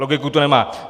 Logiku to nemá.